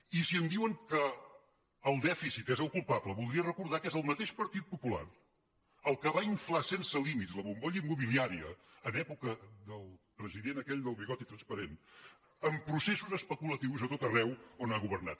i si em diuen que el dèficit és el culpable voldria recordar que és el mateix partit popular el que va inflar sense límits la bombolla immobiliària en època del president aquell del bigoti transparent amb processos especulatius a tot arreu on ha governat